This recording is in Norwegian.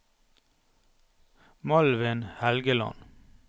Malvin Helgeland